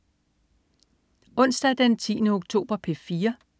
Onsdag den 10. oktober - P4: